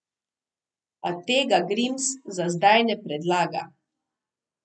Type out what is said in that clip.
A tega Grims za zdaj ne predlaga.